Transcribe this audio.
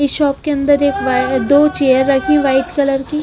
इस शॉप के अंदर एक दो चेयर रखी वाइट कलर की--